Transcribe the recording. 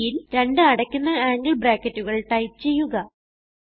sin രണ്ട് അടയ്ക്കുന്ന angle ബ്രാക്കറ്റുകൾ ടൈപ്പ് ചെയ്യുക